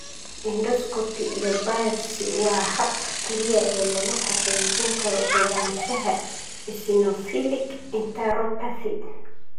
Endoscopy iyo biopsy waa habka kaliya ee lagu xaqiijin karo ogaanshaha eosinophilic enteropathy.